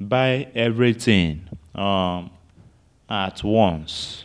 buy everything um at once